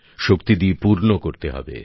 শক্তি দিয়ে পূর্ণ করতে হবে